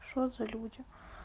что за люди